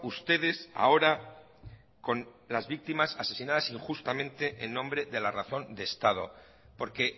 ustedes ahora con las víctimas asesinadas injustamente en nombre de la razón de estado porque